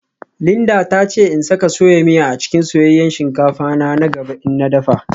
Linda ta ce in saka soya miya a cikin soyayyen shinkafa na na gaba in na dafa